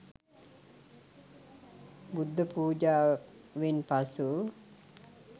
බුද්ධ පුජාවෙන් පසු